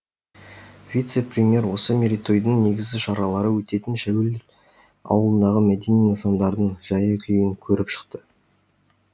вице премьер осы мерейтойдың негізгі шаралары өтетін шәуілдір ауылындағы мәдени нысандардың жайы күйін көріп шықты